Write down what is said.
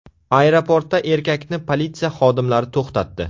Aeroportda erkakni politsiya xodimlari to‘xtatdi.